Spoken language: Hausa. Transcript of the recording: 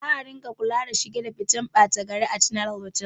Za a ringa kula da shiga da fitan ɓata gari a chila otal